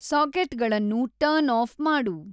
ಸಾಕೆಟ್ಗಳನ್ನು turn off ಮಾಡು